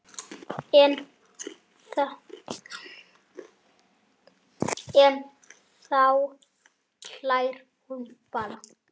En þá hlær hún bara.